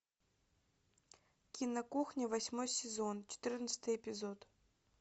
кино кухня восьмой сезон четырнадцатый эпизод